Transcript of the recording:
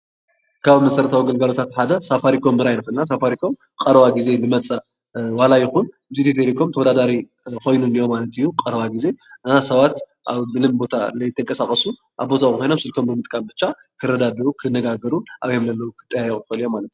ካብ መሰረታዊ ግልጋሎት ሓደ ሳፋሪኮም ክኾን ይክእል። ሳፋሪኮም ኣብ ቀረባ ግዜ ዝመፀ ዋላ ይኹን ሳፋሪኮም ንኢትዮ ቴሌኮም ተወዳዳሪ ኾይኑ ሰባት ካብ ቦተኦም ከይተቃሳቀሱ ኣብ ቦቶም ኾይኖም ስልኮም ብምጥቃም ብቻ ክረዳድኡ ክነጋገሩ ክጣየቁ ይኸእሉ እዮም።